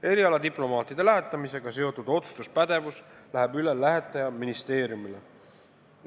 Erialadiplomaatide lähetamisega seotud otsustuspädevus läheb üle lähetajaministeeriumile.